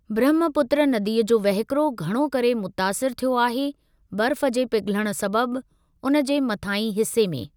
ब्रहमपुत्र नदीअ जो वहिकिरो घणो करे मुतासिर थियो आहे बर्फ़ जे पिघलण सबबि उन जे मथांही हिसे में।